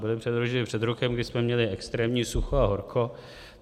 Byly předloženy před rokem, kdy jsme měli extrémní sucho a horko.